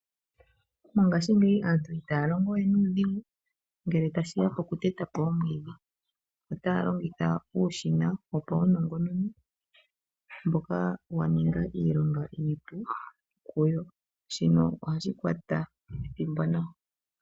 Mongashingeyi aantu itaya longowe nuudhigu ngele tashi ya pokuteta po omwiidhi. Otaya longitha uushina wopaunongononi mboka wa ninga iilonga iipu kuyo. Shino ohashi kwata ethimbo nawa.